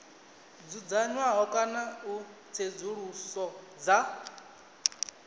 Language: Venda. dzudzanywaho kana u tsedzuluso dza